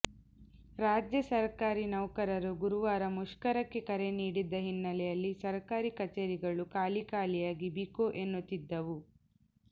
ರಾಜ್ಯ ಸರ್ಕಾರಿ ನೌಕರರು ಗುರುವಾರ ಮುಷ್ಕರಕ್ಕೆ ಕರೆ ನೀಡಿದ್ದ ಹಿನ್ನೆಲೆಯಲ್ಲಿ ಸರ್ಕಾರಿ ಕಚೇರಿಗಳು ಖಾಲಿ ಖಾಲಿಯಾಗಿ ಬಿಕೊ ಎನ್ನುತ್ತಿದ್ದವು